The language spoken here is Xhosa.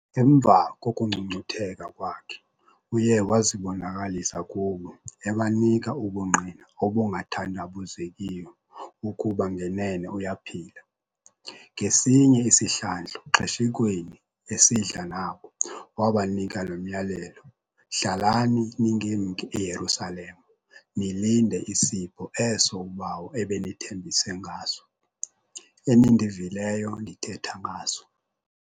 Emva kokungcungcutheka kwakhe uye wazibonakalisa kubo ebanika ubungqina obungathandabuzekiyo ukuba ngenene uyaphila. Ngesinye isihlandlo xeshikweni esidla nabo, wabanika lo myalelo "hlalani ningemki eYerusalema nilinde isipho eso uBawo ebenithembise ngaso, enindivileyo ndithetha ngaso".